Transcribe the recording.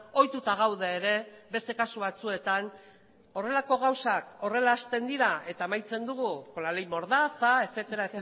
ohituta gaude ere beste kasu batzuetan horrelako gauzak horrela hasten dira eta amaitzen dugu con la ley mordaza etcétera